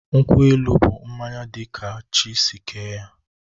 Nkwụ-elụ bụ mmañya di ka chi si kee ya